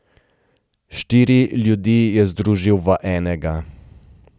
Štiri ljudi je združil v enega.